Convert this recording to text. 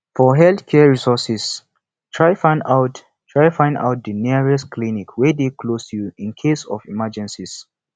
for health care resources try find out try find out di nearest clinic wey de close to you in case of emergencies